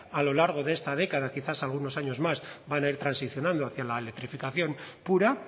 a lo largo de esta década quizás algunos años más van a ir transicionando hacia la electrificación pura